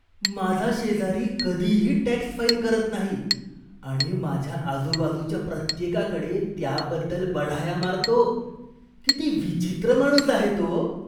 माझा शेजारी कधीही टॅक्स फाईल करत नाही आणि माझ्या आजूबाजूच्या प्रत्येकाकडे त्याबद्दल बढाया मारतो. किती विचित्र माणूस आहे तो.